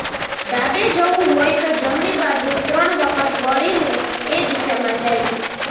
ડાબે જવું હોય તો જમણી બાજુ ત્રણ વખત વળીને એ દિશામાં જાય છે